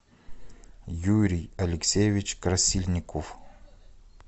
юрий алексеевич красильников